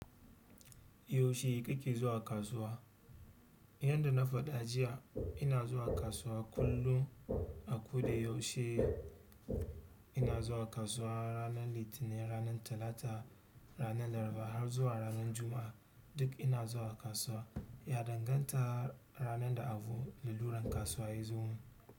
Yaushe kake zuwa kasuwa? Yanda na faɗa jiya ina zuwa kasuwa kullum a koda yaushe ina zuwa kasuwa ranar Litinin, ranar Talata, ranar Laraba har zuwa ranar Juma'a duk ina zuwa kasuwa ya danganta ranar da abu da luran kasuwa yazo.